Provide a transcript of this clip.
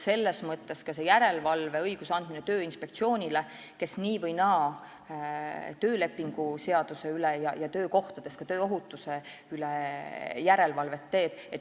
Selles mõttes on tähtis ka järelevalve õiguse andmine Tööinspektsioonile, kes nii või naa teeb töökohtades töölepingu seaduse ja tööohutuse üle järelevalvet.